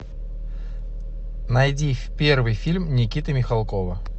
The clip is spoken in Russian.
найди первый фильм никиты михалкова